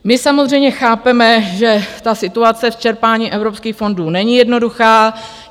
My samozřejmě chápeme, že ta situace v čerpání evropských fondů není jednoduchá.